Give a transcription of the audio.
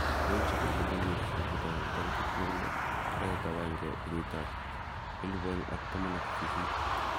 Lokoiwek chebo Global Newsbeat 1000 26/01/2018.